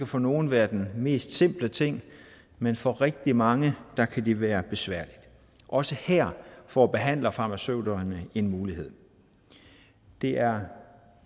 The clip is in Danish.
for nogle være den mest simple ting men for rigtig mange kan det være besværligt også her får behandlerfarmaceuterne en mulighed det er